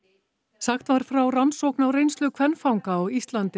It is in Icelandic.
sagt var frá rannsókn á reynslu kvenfanga á Íslandi á